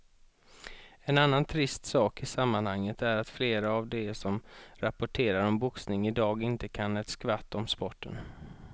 En annan trist sak i sammanhanget är att flera av de som rapporterar om boxning i dag inte kan ett skvatt om sporten.